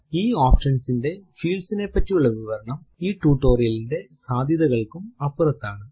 ഈ ഓപ്ഷൻ ന്റെ fields നെ പറ്റിയുള്ള വിവരണം ഈ ടുടോരിയലിന്റെ സാദ്ധ്യതകൾക്കും അപ്പുറത്താണ്